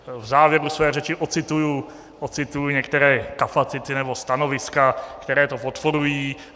V závěru své řeči ocituji některé kapacity nebo stanoviska, které to podporují.